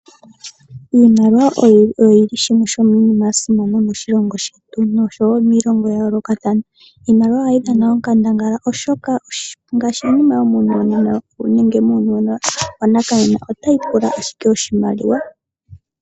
Iimaliwa oyi li yimwe yomiinima mbyoka ya simana moshilongo shetu nosho wo miilongo ya yoolokathana. Iimaliwa ohayi dhana onkandangala oshoka iinima oyindji yomuuyuni wa nakanena otayi pula owala iimaliwa.